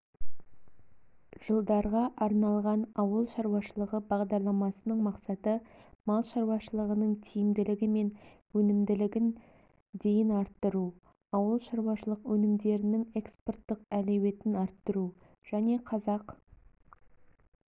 жылдарға арналған ауыл шаруашылығы бағдарламасының мақсаты мал шаруашылығының тиімділігі мен өнімділігін дейін арттыру ауыл шаруашылық өнімдерінің экспорттық әлеуетін арттыру және қазақ